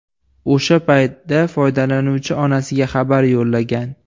O‘sha paytda foydalanuvchi onasiga xabar yo‘llagan.